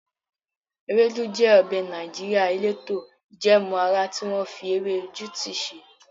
Ewedu jẹ ọbẹ̀ Nàìjíríà eleto ijẹẹmu ara tí wọ́n fi ewé juti ṣe.